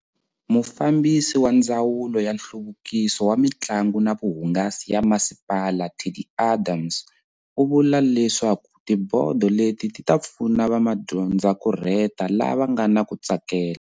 Mufambisi wa ndzawulo ya nhluvukiso wa mitlangu na vuhungasi ya masipala Teddi Adams, u vula leswaku tibodo leti ti ta pfuna vamadyondzakurheta lava nga na ku tsakela.